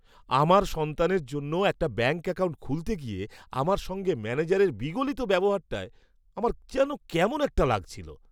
আমার সন্তানের জন্য একটা ব্যাঙ্ক অ্যাকাউন্ট খুলতে গিয়ে আমার সঙ্গে ম্যানেজারের বিগলিত ব্যবহারটায় আমার যেন কেমন একটা লাগছিল।